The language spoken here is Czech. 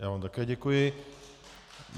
Já vám také děkuji.